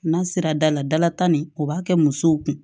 N'a sera da la dalata nin o b'a kɛ musow kun